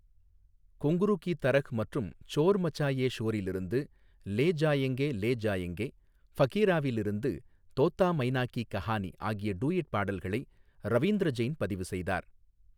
குங்ரூ கி தரஹ்' மற்றும் சோர் மச்சாயே ஷோரில் இருந்து 'லே ஜாயெங்கே லே ஜாயெங்கே', ஃபகீராவில் இருந்து 'தோத்தா மைனா கி கஹானி' ஆகிய டூயட் பாடல்களை ரவீந்திர ஜெயின் பதிவு செய்தார்.